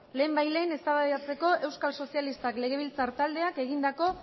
lehenbailehen eztabaidatzeko euskal sozialistak legebiltzar taldeak egindako